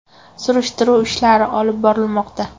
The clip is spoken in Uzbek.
Surishtiruv ishlari olib borilmoqda.